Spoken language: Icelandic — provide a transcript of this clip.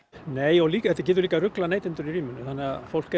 nei og líka þetta getur líka ruglað neytendur í ríminu þannig fólk